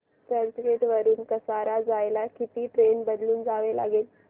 चर्चगेट वरून कसारा जायला किती ट्रेन बदलून जावे लागेल